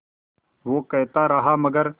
वो कहता रहा मगर